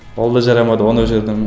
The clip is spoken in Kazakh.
ол да жарамады оны өшірдім